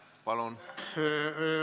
Palun!